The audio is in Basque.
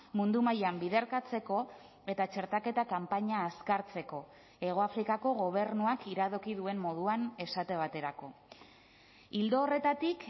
mundu mailan biderkatzeko eta txertaketa kanpaina azkartzeko hegoafrikako gobernuak iradoki duen moduan esate baterako ildo horretatik